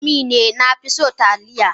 Indomie ne na fi so Taliya.